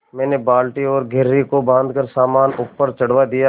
मैंने बाल्टी और घिर्री को बाँधकर सामान ऊपर चढ़वा दिया